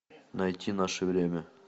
найти наше время